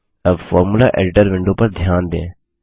अब formula editor window पर ध्यान दें